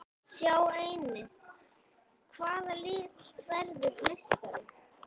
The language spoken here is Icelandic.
Sjá einnig: Hvaða lið verður meistari?